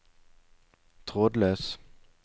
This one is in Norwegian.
trådløs